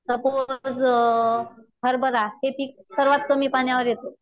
Suppose हरभरा हे पीक सर्वात कमी पाण्यावर येत.